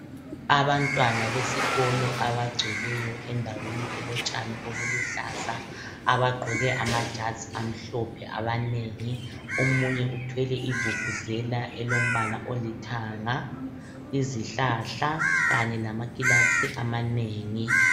Abantwana besikolo abagcweleyo endaweni elotshani obuluhlaza abagqoke amajazi amhlophe abanengi. Omunye uthwele ivuvuzela elombala olithanga. Izihlahla kanye lamakilasi amanengi.